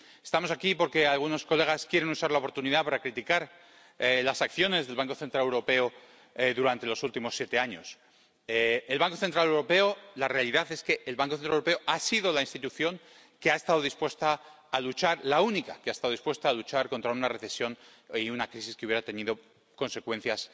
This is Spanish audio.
Estamos aquí porque algunos diputados quieren usar la oportunidad para criticar las acciones del Banco Central Europeo durante los últimos siete años. La realidad es que el Banco Central Europeo ha sido la institución que ha estado dispuesta a luchar, la única que ha estado dispuesta a luchar contra una recesión y una crisis que hubiera tenido consecuencias